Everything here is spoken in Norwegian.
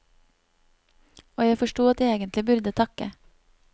Og jeg forstod at jeg egentlig burde takke.